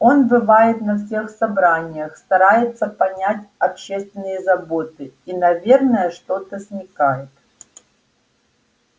он бывает на всех собраниях старается понять общественные заботы и наверно что-то смекает